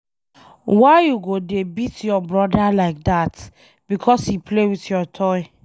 Why you go dey beat your broda like dat because he play with your toy?